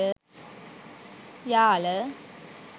yala